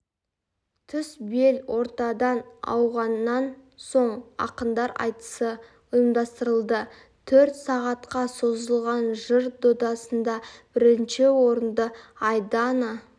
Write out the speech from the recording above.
түс бел ортадан ауғанан соң ақындар айтысы ұйымдастырылды төрт сағатқа созылған жыр додасында бірінші орынды айдана